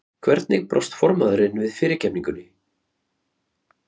Hvernig brást formaðurinn við fyrirgefningunni?